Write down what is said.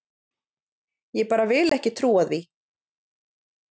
Ég bara vil ekki trúa því.